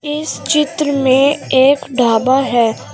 इस चित्र में एक ढाबा है।